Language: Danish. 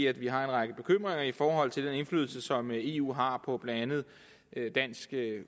at vi har en række bekymringer i forhold til den indflydelse som eu har på blandt andet dansk